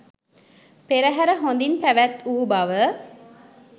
පෙරහැර හොඳින් පැවැත් වූ බව